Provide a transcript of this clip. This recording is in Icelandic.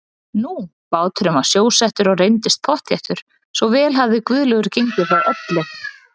Nú, báturinn var sjósettur og reyndist pottþéttur, svo vel hafði Guðlaugur gengið frá öllu.